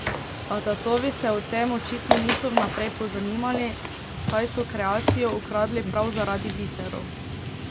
A tatovi se o tem očitno niso vnaprej pozanimali, saj so kreacijo ukradli prav zaradi biserov.